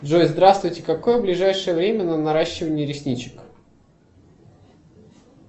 джой здравствуйте какое ближайшее время на наращивание ресничек